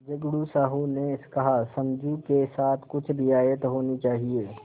झगड़ू साहु ने कहासमझू के साथ कुछ रियायत होनी चाहिए